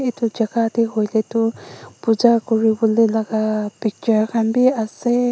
etu jagah te hoile tu Puja kori bole laga picture khan bhi ase.